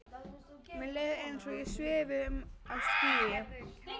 Mér leið eins og ég svifi um á skýi.